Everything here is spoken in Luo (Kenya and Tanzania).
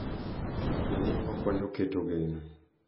Be ni okonyo keto geno.